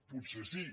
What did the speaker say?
potser sí